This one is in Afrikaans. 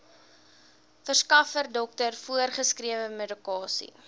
verskaffer dokter voorgeskrewemedikasie